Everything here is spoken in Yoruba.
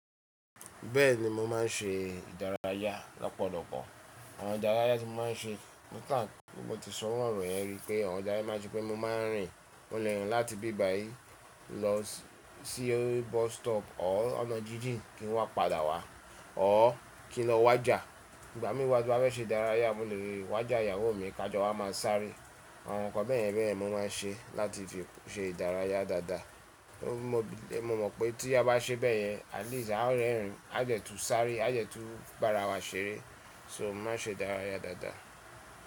Bẹ́ẹ̀ ni mo máa ń ṣe ìdárayá lọ́pọ̀lọpọ̀. Àwọn ìdárayá tí mo máa ń ṣe, nípa pe mo ti sọ iru ọ̀rọ̀ yẹn rí pé àwọn ìdárayá máa ń ṣe pé mo máa ń rìn. Mo lè rìn láti bí bá yìí lọ sí bus stop ọ́r ọ̀nà jíjìn kí n wá padà wá, ọ́r kí n lọ wájà. Ìgbà mí wá bá fẹ́ ṣe ìdárayá mo lè wájà ìyàwó mi, ká jọ wá máa sáré. Àwọn nǹkan bẹ́ẹ̀yen bẹ́ẹ̀yen mo máa ń ṣe láti fi ṣe ìdárayá dáadáa. Mo mọ̀ pé tí a bá ṣe bẹ́ẹ̀ yẹn at least a ó rẹ́rìn, a dẹ tu sáré, a dẹ tu bá ara wa ṣeré. So mo máa ń ṣe ìdárayá dáadáa.